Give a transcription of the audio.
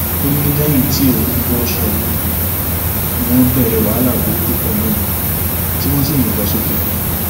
ó ní lẹyìn tí òun bọṣọ yìí ni wọn bẹrẹ wàhálà burúkú pẹlú òun tí wọn sì yìnbọn sókè